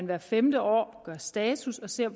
hvert femte år gøres status så